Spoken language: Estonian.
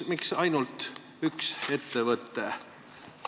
Miks ainult üks ettevõte on vastanud?